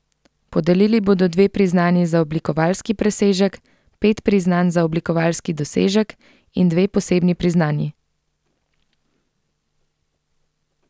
Podelili bodo tudi dve priznanji za oblikovalski presežek, pet priznanj za oblikovalski dosežek in dve posebni priznanji.